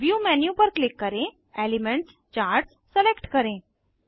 view menu पर click करें elements charts select करें